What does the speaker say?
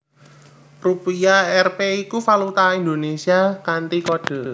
Rupiah Rp iku valuta Indonésia kanthi kode